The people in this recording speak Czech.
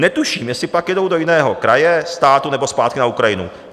Netuším, jestli pak jedou do jiného kraje, státu nebo zpátky na Ukrajinu.